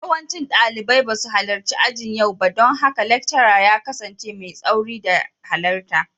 Yawancin dalibai ba su halarci ajin yau ba don haka laccara ya kasance mai tsauri da halarta.